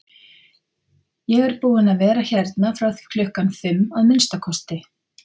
Ég er búinn að vera hérna frá því klukkan fimm, að minnsta kosti